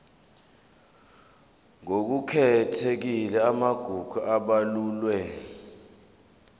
ngokukhethekile amagugu abalulwe